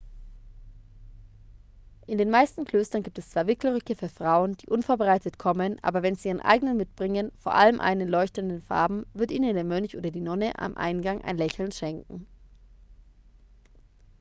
in den meisten klöstern gibt es zwar wickelröcke für frauen die unvorbereitet kommen aber wenn sie ihren eigenen mitbringen vor allem einen in leuchtenden farben wird ihnen der mönch oder die nonne am eingang ein lächeln schenken